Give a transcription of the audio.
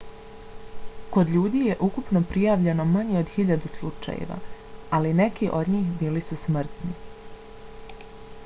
kod ljudi je ukupno prijavljeno manje od hiljadu slučajeva ali neki od njih bili su smrtni